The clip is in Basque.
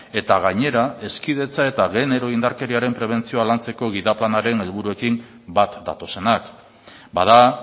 eta gainera hezkidetza eta genero indarkeriaren prebentzioa lantzeko gida planaren helburuekin bat datozenak bada